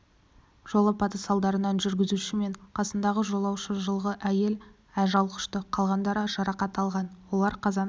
жол апаты салдарынан жүргізушісі мен қасындағы жолаушы жылғы әйел ажал құшты қалғандары жарақат алған олар қазан